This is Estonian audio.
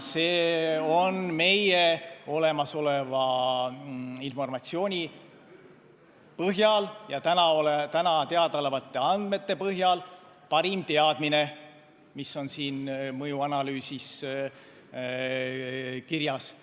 See on meil olemasoleva informatsiooni põhjal ja täna teadaolevate andmete põhjal parim teadmine, mis on siin mõjuanalüüsis kirjas.